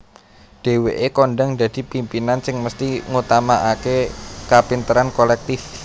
Dhéwéke kondhang dadi pimpinan sing mesthi ngutamaakè kapinteran kolèktif